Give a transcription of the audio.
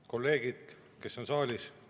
Kolleegid, kes on saalis!